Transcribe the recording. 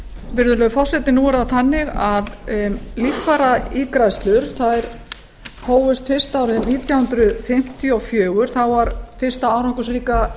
virðulegur forseti nú er það þannig að líffæraígræðslur hófust fyrst árið nítján hundruð fimmtíu og fjögur þá var fyrsta árangursríka